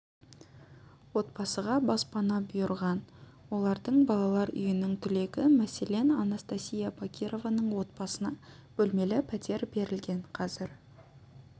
отбасыға баспана бұйырған олардың балалар үйінің түлегі мәселен анастасия бакированың отбасына бөлмелі пәтер берілген қазір